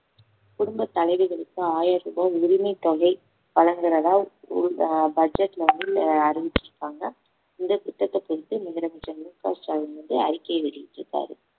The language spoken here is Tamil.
குடும்பத் தலைவிகளுக்கு ஆயிரம் ரூபாய் உதவித்தொகை வழங்குறதா ஊர்தா~ budget ல வந்து ஆஹ் அறிவிச்சிருக்காங்க இந்த திட்டத்தை குறித்து முதலமைச்சர் மு க ஸ்டாலின் வந்து அறிக்கை வெளியிட்டிருக்காரு